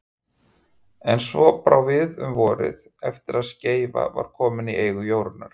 En svo brá við um vorið, eftir að Skeifa var komin í eigu Jórunnar